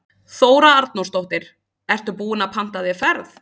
Þóra Arnórsdóttir: Ertu búinn að panta þér ferð?